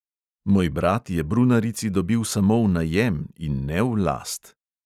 Moj brat je brunarici dobil samo v najem in ne v last.